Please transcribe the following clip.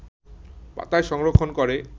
পাতায় সংরক্ষণ করে